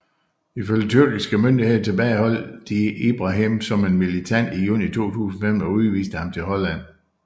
Ifølge tyrkiske myndigheder tilbageholdt de Ibrahim som en militant i juni 2015 og udviste ham til Holland